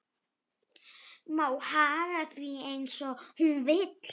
Má haga því eins og hún vill.